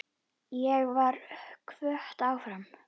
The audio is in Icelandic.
Ég var hvött áfram.